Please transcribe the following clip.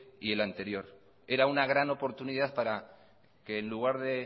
y el anterior era una gran oportunidad para que en lugar que